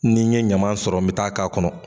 N'i n ye ɲaman sɔrɔ n bɛ taa k'a kɔnɔ.